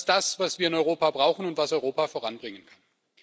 Genau das ist das, was wir in Europa brauchen und was Europa voranbringen kann.